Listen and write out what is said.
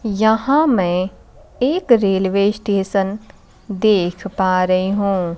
यहां मैं एक रेलवे स्टेशन देख पा रही हूं।